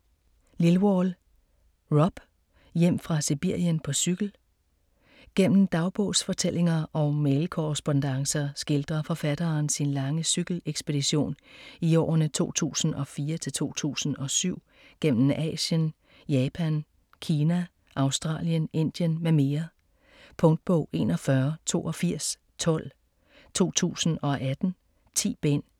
Lilwall, Rob: Hjem fra Sibirien på cykel Gennem dagbogsfortællinger og mailkorrespondancer skildrer forfatteren sin lange cykelekspedition i årene 2004-2007 gennem Asien, Japan, Kina, Australien, Indien m.m. Punktbog 418212 2018. 10 bind.